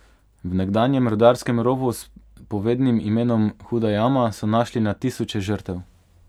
V nekdanjem rudarskem rovu s povednim imenom Huda jama so našli na tisoče žrtev.